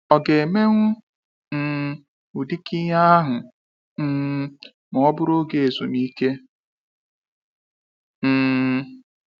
Ọ ga emewu um ụdịka ihe ahụ um ma ọ bụrụ oge ezumike? um